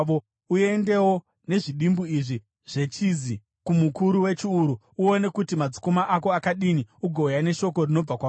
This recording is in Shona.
Uendewo nezvidimbu izvi zvechizi kumukuru wechiuru. Uone kuti madzikoma ako akadini ugouya neshoko rinobva kwavari.